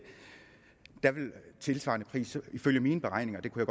tilsvarende hus ifølge mine beregninger og det kunne